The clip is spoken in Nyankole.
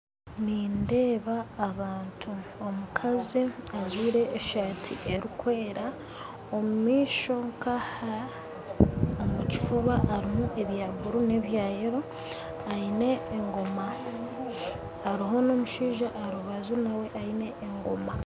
Nindeeba abantu omukazi ajwire esaati erikwera omumaisho nka aha omu kifuuba harimu ebya blue n'ebya yellow aine egooma hariho n'omushaija aharubaju naawe aine egooma